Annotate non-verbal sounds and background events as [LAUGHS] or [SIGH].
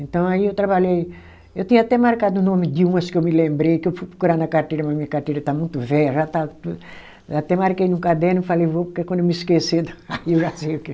Então aí eu trabalhei, eu tinha até marcado o nome de umas que eu me lembrei, que eu fui procurar na carteira, mas minha carteira está muito velha, já está tu até marquei no caderno e falei, vou, porque quando eu me esquecer, [LAUGHS] aí eu já sei o que.